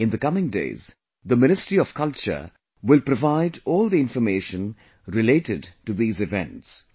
In the coming days, the Ministry of Culture will provide all the information related to these events